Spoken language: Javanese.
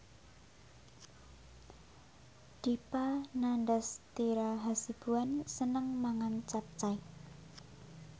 Dipa Nandastyra Hasibuan seneng mangan capcay